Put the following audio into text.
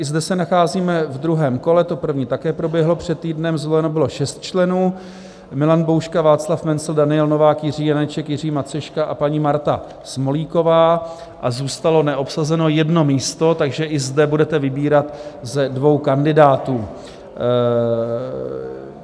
I zde se nacházíme v druhém kole, to první také proběhlo před týdnem, zvoleno bylo šest členů - Milan Bouška, Václav Mencl, Daniel Novák, Jiří Janeček, Jiří Maceška a paní Marta Smolíková - a zůstalo neobsazeno jedno místo, takže i zde budete vybírat ze dvou kandidátů.